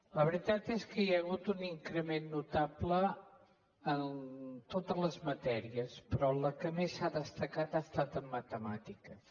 la veritat és que hi ha hagut un increment notable en totes les matèries però en la que més s’ha destacat ha estat en matemàtiques